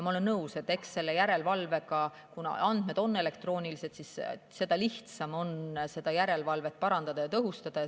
Ma olen nõus, et kuna andmed on elektroonilised, siis seda lihtsam on järelevalvet parandada ja tõhustada.